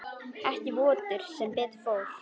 Ekki vottur sem betur fór.